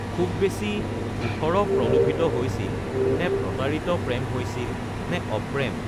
খুব বেছি ওঠৰ প্ৰলোভিত হৈছিল নে প্ৰতাৰিত প্ৰেম হৈছিল নে অপ্ৰেম